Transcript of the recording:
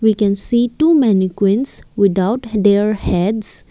we can see two mennequins without their heads.